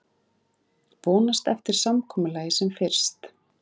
Vonast eftir samkomulagi sem fyrst